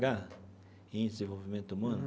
Índice de Desenvolvimento Humano?